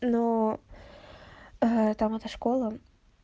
но эта мотошкола